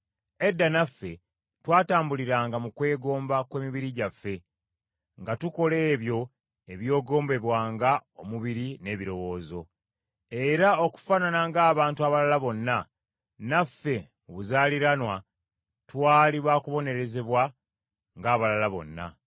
Edda naffe twatambuliranga mu kwegomba kw’emibiri gyaffe, nga tukola ebyo ebyegombebwanga omubiri n’ebirowoozo. Era okufaanana ng’abantu abalala bonna, naffe mu buzaaliranwa twali baakubonerezebwa ng’abalala bonna.